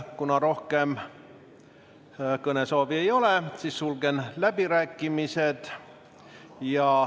Kuna rohkem kõnesoovi ei ole, siis sulgen läbirääkimised.